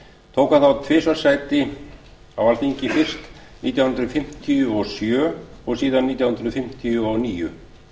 tók hann á tvisvar sæti á alþingi fyrst nítján hundruð fimmtíu og sjö og síðan nítján hundruð fimmtíu og níu